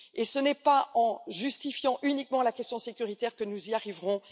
Ce n'est pas en justifiant uniquement la question sécuritaire que nous y arriverons.